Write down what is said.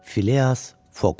Fileas Foq.